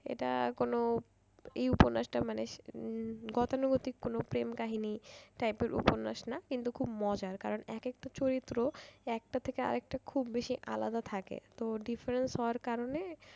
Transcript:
এটা কোন এ উপন্যাসটা মানে উম গতানুগতিক কোন প্রেম কাহিনী। type এর উপন্যাস না। কিন্তু খুব মজার কারণ এক একটা চরিত্র একটা থেকে আর একটা খুব আলাদা থাকে। তোর different হওয়ার কারণে